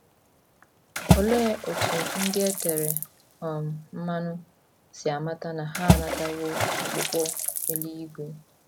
Olee otú ndị e tere um mmanụ si amata na ha anatawo ọkpụkpọ eluigwe?